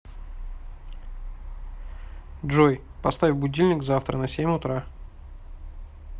джой поставь будильник завтра на семь утра